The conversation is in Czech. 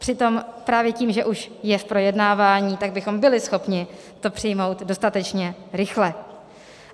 Přitom právě tím, že už je v projednávání, tak bychom byli schopni to přijmout dostatečně rychle.